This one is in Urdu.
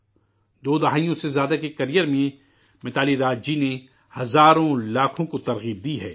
دو دہائیوں سے زیادہ کے کیریر میں متالی راج جی نے ہزاروں لاکھوں کو تحریک دی ہے